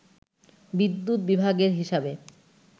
বিদ্যুৎ বিভাগের হিসাবে